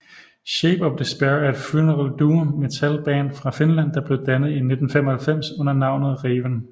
Shape of Despair er et funeral doom metal band fra Finland der blev dannet i 1995 under navnet Raven